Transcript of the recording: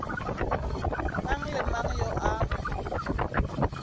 mang le mang yo a